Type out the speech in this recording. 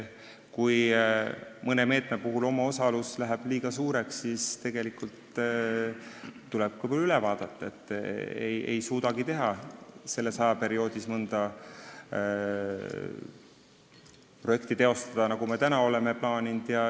Kui mõne meetme omaosalus läheb liiga suureks, siis tuleb võib-olla vaadata, kas me ei suudagi sellel perioodil mõnda projekti teostada, nii nagu me oleme plaaninud.